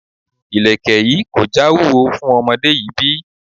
Ilẹ̀kè yìí kò já wúwo fún ọmọdé yìí bí?